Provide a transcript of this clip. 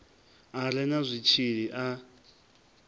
a re na zwitshili a